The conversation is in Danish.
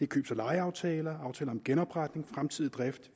købs og lejeaftaler og aftaler om genopretning fremtidig drift